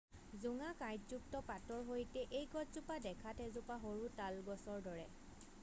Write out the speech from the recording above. জোঙা কাইঁটযুক্ত পাতৰ সৈতে এই গছজোপা দেখাত এজোপা সৰু তাল গছৰ দৰে